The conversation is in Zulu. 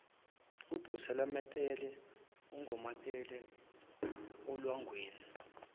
obeselunamathele ungonamathela olwangeni